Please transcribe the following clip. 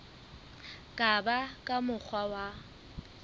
ka ba ka mokgwa wa